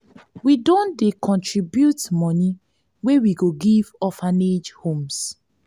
we don dey contribute moni wey we go give orphanage homes.